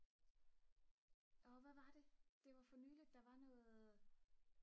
hvad var det det var nyligt der var noget